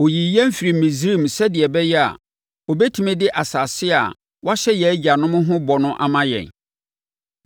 Ɔyii yɛn firii Misraim sɛdeɛ ɛbɛyɛ a, ɔbɛtumi de asase a wahyɛ yɛn agyanom ho bɔ no ama yɛn.